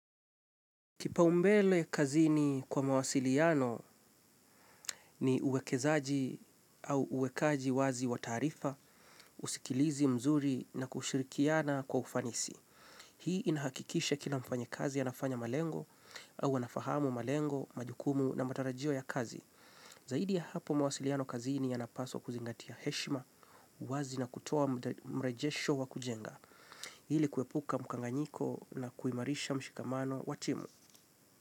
Kipaumbele kazini kwa mawasiliano ni uwekezaji au uwekaji wazi wa taarifa, usikilizi mzuri na kushirikiana kwa ufanisi. Hii inahakikisha kila mfanyikazi anafanya malengo au anafahamu malengo, majukumu na matarajio ya kazi. Zaidi ya hapo mawasiliano kazini yanapaswa kuzingatia heshima, uwazi na kutoa mrejesho wa kujenga. Ili kuepuka mkanganyiko na kuimarisha mshikamano wa timu.